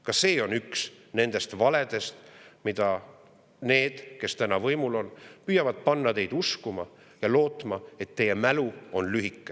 Ka see on üks nendest valedest, mida need, kes täna võimul on, püüavad panna teid uskuma, lootes, et teie mälu on lühike.